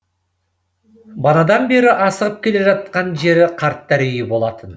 банадан бері асығып келе жатқан жері қарттар үйі болатын